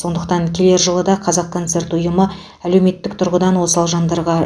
сондықтан келер жылы да қазақконцерт ұйымы әлеуметтік тұрғыдан осал жандарға